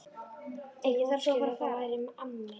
Einhver útskýrði að þetta væri amma mín.